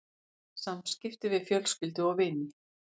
SAMSKIPTI VIÐ FJÖLSKYLDU OG VINI